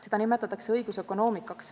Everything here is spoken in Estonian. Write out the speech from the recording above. Seda nimetatakse õigusökonoomikaks.